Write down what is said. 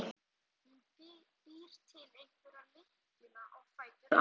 Hún býr til hverja lykkjuna á fætur annarri.